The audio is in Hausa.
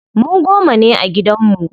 Mu goma ne a gidan mu.